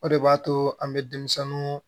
O de b'a to an bɛ denmisɛnninw